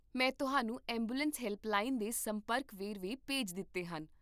ਮੈਂ ਤੁਹਾਨੂੰ ambulance helpline ਦੇ ਸੰਪਰਕ ਵੇਰਵੇ ਭੇਜ ਦਿੱਤੇ ਹਨ